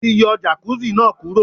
A ti yọ Jàkúzì náà kúrò.